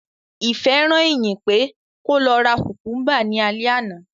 Ìfẹ́ rán Ìyìn pé kó lọ ra kùmkúmbà ní alẹ́ àná